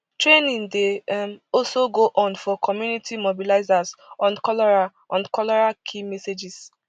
training dey um also go on for community mobilizers on cholera on cholera key messages